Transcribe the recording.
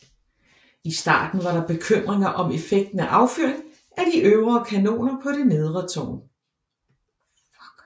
I starten var der bekymringer om effekten af affyring af de øvre kanoner på det nedre tårn